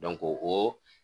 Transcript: o